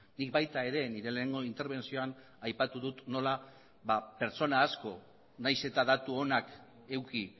nik baita nire lehenengo interbentzioan ere aipatu dut nola pertsona asko nahiz eta datu onak eduki